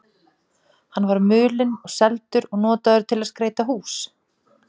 Hann var mulinn og seldur og notaður til að skreyta hús.